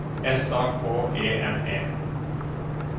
S A K E N E